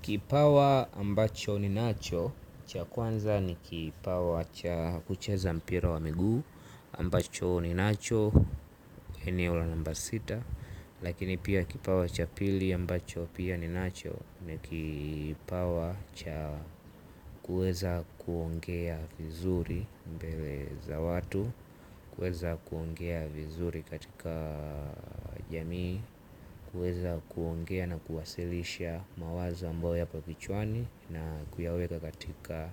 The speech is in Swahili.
Kipawa ambacho ninacho, cha kwanza ni kipawa cha kucheza mpira wa miguu, ambacho ninacho, eneo la namba sita. Lakini pia kipawa cha pili ambacho pia ninacho, ni kipawa cha kuweza kuongea vizuri mbele za watu, kuweza kuongea vizuri katika jamii, kuweza kuongea na kuwasilisha mawazo ambayo yapo kichwani na kuyaweka katika